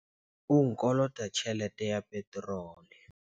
O nkolota tjhelete ya peterole.